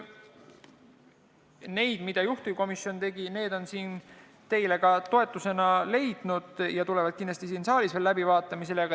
Need, mida juhtivkomisjon tegi, on ka toetuse leidnud ja tulevad kindlasti siin saalis veel läbivaatamisele.